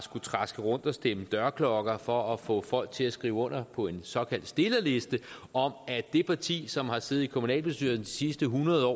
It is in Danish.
traske rundt og stemme dørklokker for at få folk til at skrive under på en såkaldt stillerliste om at det parti som har siddet i kommunalbestyrelsen de sidste hundrede år